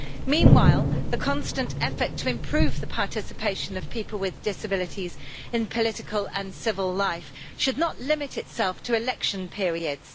Meanwhile, the constant effort to improve the participation of people with disabilities in political and civil life should not limit itself to election periods.